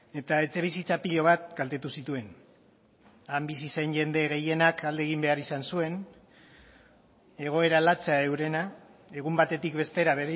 eta etxebizitza pilo bat kaltetu zituen han bizi zen jende gehienak alde egin behar izan zuen egoera latsa eurena egun batetik bestera